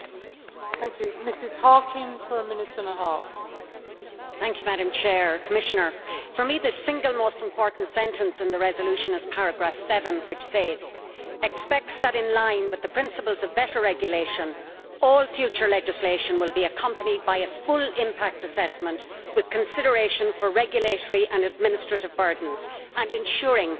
Madam President, Commissioner, for me, the single most important sentence in the resolution is paragraph 7, which says, Expects that, in line with the principles of better regulation, all future legislation will be accompanied by a full impact assessment with consideration for regulatory and administrative burdens and ensuring that any new regulation is proportionate to the aims it seeks to achieve'.